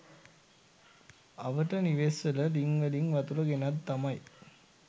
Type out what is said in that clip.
අවට නිවෙස්‌වල ළිංවලින් වතුර ගෙනත් තමයි